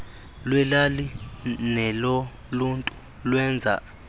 lweelali neloluntu lwenza